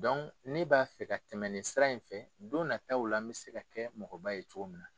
ne b'a fɛ ka tɛmɛn nin sira in fɛ don nataw la n bɛ se ka kɛ mɔgɔ ba ye cogo min na.